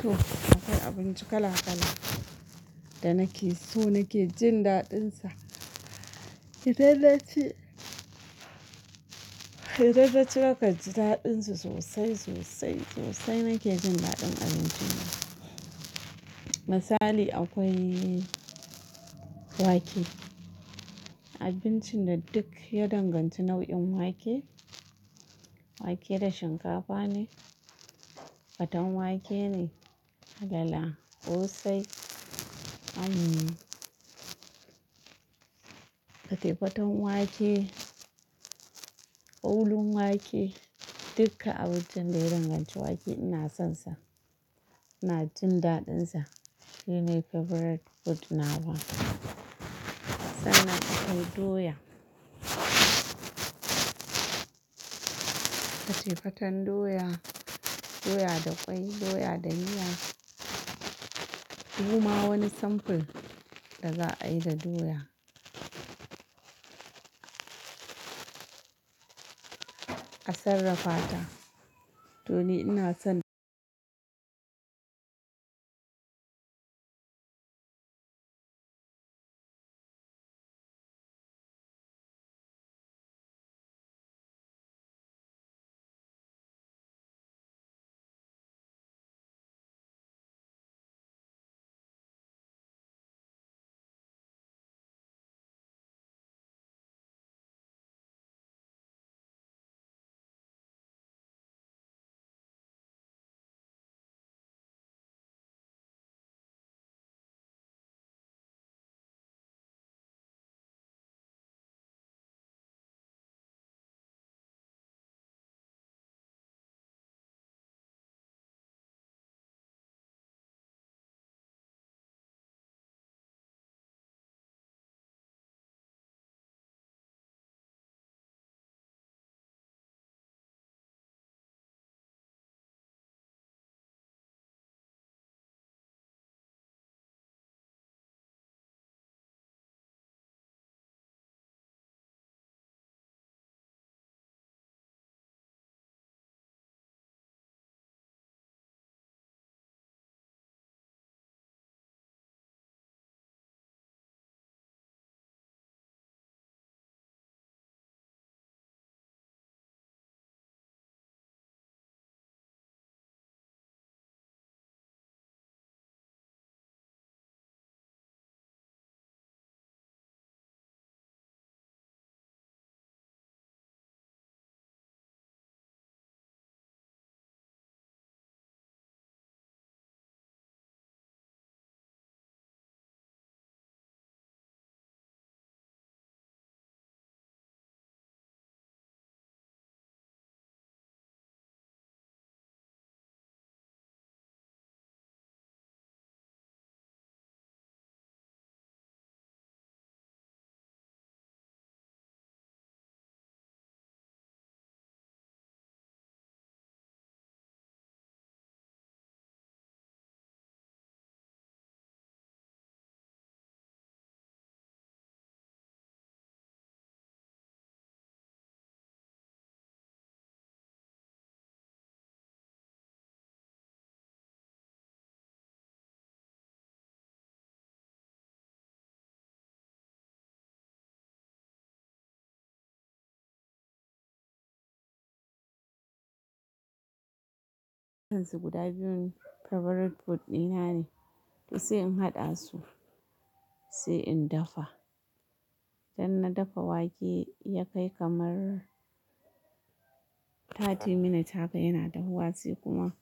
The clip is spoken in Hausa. To akwai abinci kala kala da nakeso nake jin daɗinsa. Idan naci, idan naci nakanji daɗinsa sosai sosai sosai nake jin daɗin abincin nan. Misali akwai wake, abincinda duk ya danganci nau'in wake, wake da shinkafa ne, faten wake ne, alala, ƙosai, hmm fate-faten wake, ƙolun wake dukka abincin da ya danganci wake ina son sa. Ina jin daɗin sa. Shine favourite food nawa. Sannan akwai doya, fate-faten doya, doya da ƙwai, doya da miya. Dukma wani samfur da za'ayi da doya a sarrafata to ni ina son su guda biyun favourite food dinane. To sai in haɗasu sai in dafa. Idanna dafa wake yakai kamar five minutes haka yana dahuwa sai kuma